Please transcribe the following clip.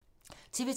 TV 2